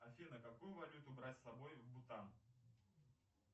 афина какую валюту брать с собой в бутан